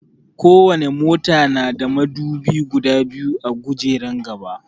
Ko wani mota na da madubi guda biyu a gujeran gaba